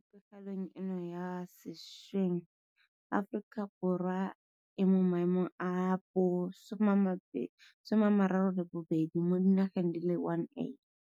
Mo pegelong eno ya sešweng Aforika Borwa e mo maemong a bo 32 mo di nageng di le 180.